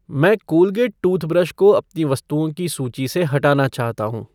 मैं Colgate toothbrush को अपनी वस्तुओं की सूची से हटाना चाहता हूँ